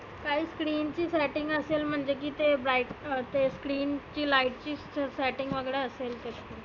काही screen ची setting असेल म्हटल की ते बाइ ते screen ची light ची setting वगैरा असेल.